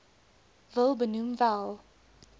wil benoem wel